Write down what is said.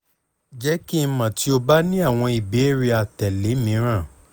jẹ ki n mọ ti o ba ni awọn ibeere atẹle miiran